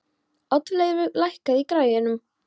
Oddleifur, lækkaðu í græjunum.